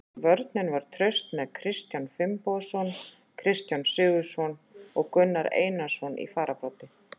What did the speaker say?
Vörnin var traust með Kristján Finnbogason, Kristján Sigurðsson og Gunnar Einarsson í fararbroddi.